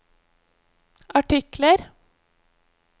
artikler